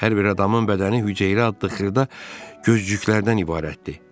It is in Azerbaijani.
Hər bir adamın bədəni hüceyrə adlı xırda gözcüklərdən ibarətdir.